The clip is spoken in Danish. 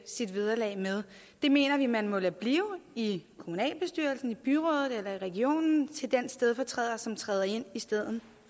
sit vederlag med det mener vi man må lade blive i kommunalbestyrelsen i byrådet eller i regionen til den stedfortræder som træder ind i stedet